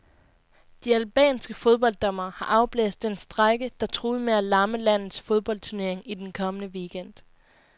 De albanske fodbolddommere har afblæst den strejke, der truede med at lamme landets fodboldturnering i den kommende weekend.